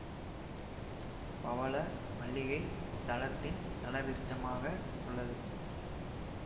பவள மல்லிகை இத்தலத்தின் தலவிருட்சமாக உள்ளது